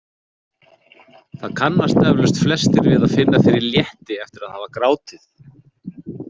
Það kannast eflaust flestir við að finna fyrir létti eftir að hafa grátið.